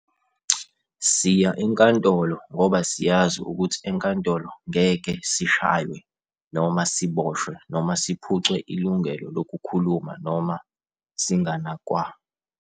Siya enkantolo ngoba siyazi ukuthi enkantolo ngeke sishaywe, noma siboshwe, noma siphucwe ilungelo lokukhuluma noma singanakwa.